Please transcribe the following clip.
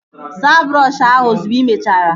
Saa brọọshi ahụ ozugbo ị mechara!